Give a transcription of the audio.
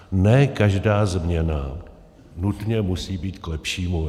Ne každá změna nutně musí být k lepšímu.